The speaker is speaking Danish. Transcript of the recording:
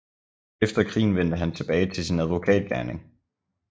Efter krigen vendte han tilbage til sin advokat gerning